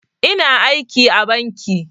Ina aiki a banki